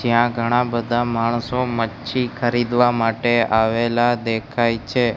જ્યાં ઘણા બધા માણસો મચ્છી ખરીદવા માટે આવેલા દેખાય છે.